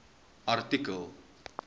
artikel